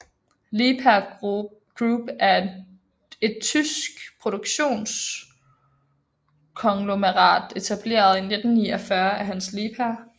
Liebherr Group er et tysk produktionskonglomerat etableret i 1949 af Hans Liebherr